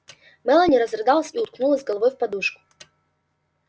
мелани разрыдалась и уткнулась головой в подушку